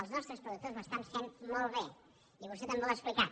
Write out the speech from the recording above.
els nostres productors ho estan fent molt bé i vostè també ho ha explicat